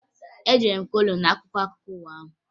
Edere m kolum n'akwụkwọ akụkọ ụwa ahụ